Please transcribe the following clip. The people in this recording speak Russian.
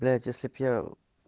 блять если бы я